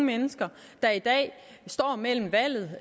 mennesker der i dag står med valget